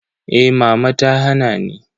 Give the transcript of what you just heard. Eh mama ta hana ni.